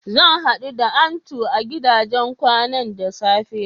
Zan haɗu da Antu a gidajen kwanan da safe.